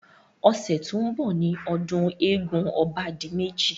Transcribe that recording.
Ọ̀sẹ̀ tí ó ń bọ̀ ni ọdún eégún obádimẹ́ji.